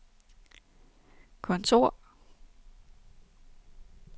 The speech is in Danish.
kontor